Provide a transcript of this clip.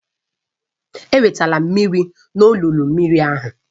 Ewetela mmiri n'olulu mmiri ahụ